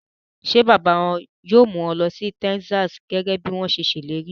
Ṣé bàbá wọn yóò mú wọn lọ sí Texas gẹ́gẹ́ bí wọ́n ṣe ṣèlérí?